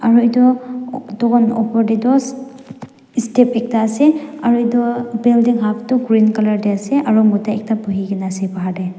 aro edu dukan opor tae toh step ekta ase aru edu building up tu green colour tae ase aro mota ekta buhikaena ase bahar tae.